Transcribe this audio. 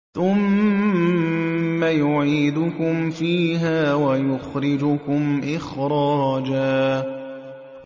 ثُمَّ يُعِيدُكُمْ فِيهَا وَيُخْرِجُكُمْ إِخْرَاجًا